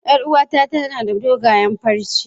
Yar uwata tana da dogayen farce.